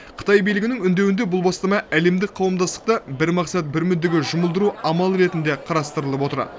қытай билігінің үндеуінде бұл бастама әлемдік қауымдастықты бір мақсат бір мүддеге жұмылдыру амалы ретінде қарастырылып отыр